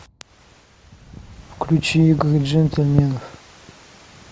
включи игры джентльменов